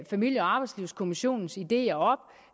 familie og arbejdslivskommissionens ideer